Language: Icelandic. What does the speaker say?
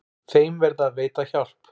Þeim verði að veita hjálp.